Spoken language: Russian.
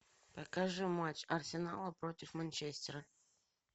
покажи матч арсенала против манчестера